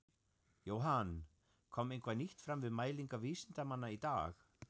Jóhann, kom eitthvað nýtt fram við mælingar vísindamanna í dag?